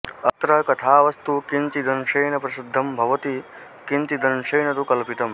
अत्र कथावस्तु किञ्चिदंशेन प्रसिद्धं भवति किञ्चिदंशेन तु कल्पितम्